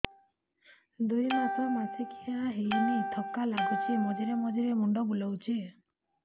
ଦୁଇ ମାସ ମାସିକିଆ ହେଇନି ଥକା ଲାଗୁଚି ମଝିରେ ମଝିରେ ମୁଣ୍ଡ ବୁଲୁଛି